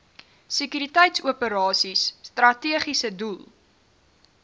sekuriteitsoperasies strategiese doel